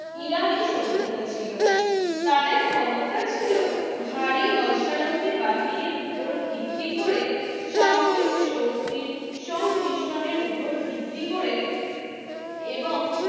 ইরানি সভ্যতা ছিল তাদের ক্ষমতা ছিল ভারী অশ্বারোহী বাহিনীর উপর ভিত্তি করে সামরিক শক্তি সংমিশ্রণের উপর ভিত্তি করে এবং